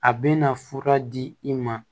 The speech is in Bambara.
A bɛna fura di i ma